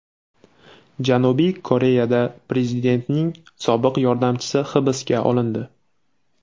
Janubiy Koreyada prezidentning sobiq yordamchisi hibsga olindi.